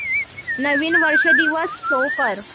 नवीन वर्ष दिवस शो कर